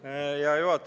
Hea juhataja!